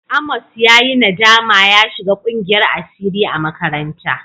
Amos ya yi nadama ya shiga ƙungiyar asiri a makaranta.